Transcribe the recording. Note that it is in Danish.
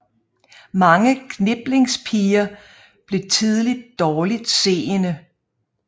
Mange kniplingspiger blev tidligt dårligt seende